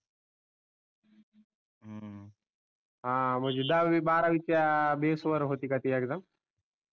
हम्म म्हणजे दहावी बारावीच्या बेस वर होती का ती एक्साम